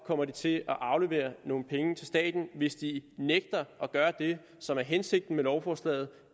kommer de til at aflevere nogle penge til staten hvis de nægter at gøre det som er hensigten med lovforslaget